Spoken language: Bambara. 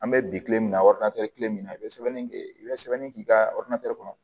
An bɛ bi kile min na kelen min na i bɛ sɛbɛnni kɛ i bɛ sɛbɛnni k'i ka kɔnɔ